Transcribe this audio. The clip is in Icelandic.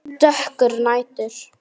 Dökkur nætur